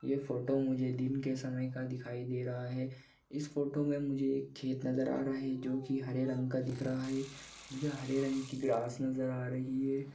यह फोटो मुझे दिन के समय का दिखाई दे रहा है इस फोटो मे मुझे एक खेत नज़र आ रहा हैजो की हरे रंग का दिख रहा है जो हरे रंग की ग्रास नज़र आ रही है।